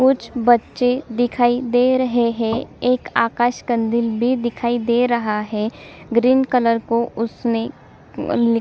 कुछ बच्चे दिखाई दे रहे है एक आकाश कंदील भी दिखाई दे रहा है ग्रीन कलर को उसने --